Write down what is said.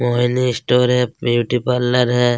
Mohini store है beauty parlour है।